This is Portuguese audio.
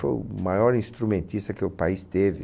Foi o maior instrumentista que o país teve.